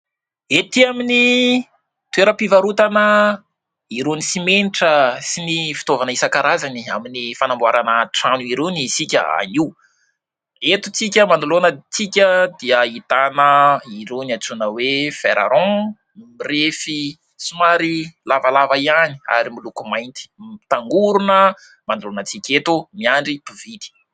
Etỳ amin'ny toeram-pivarotana irony simenitra sy ny fitaovana isan-karazany amin'ny fanamboarana trano irony isika anio. Eto antsika manoloana antsika dia ahitana irony antsoina hoe : "fer rond" mirefy somary lavalava ihany ary miloko mainty, mitangorona manoloana antsika eto miandry mpividy.